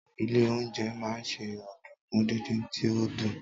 ilé oúnjẹ ma se ọdunkun didin ti o dun